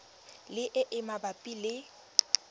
le e e mabapi le